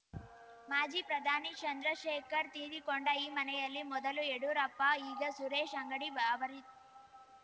ಮಾಜಿ ಪ್ರಧಾನಿ ಚಂದ್ರಶೇಖರ್‌ ತೀರಿಕೊಂಡ ಈ ಮನೆಯಲ್ಲಿ ಮೊದಲು ಯಡಿಯೂರಪ್ಪ ಈಗ ಸುರೇಶ್‌ ಅಂಗಡಿ ಅವರಿ